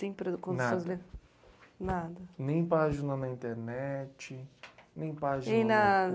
Nem página na internet, nem página no